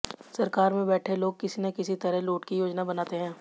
सरकार में बैठे लोग किसी न किसी तरह लूट की योजना बनाते हैं